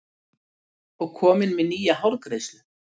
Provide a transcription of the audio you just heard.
Og komin með nýja hárgreiðslu.